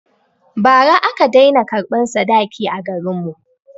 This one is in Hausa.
Ba ra aka dai na karɓan sadaki a garin mu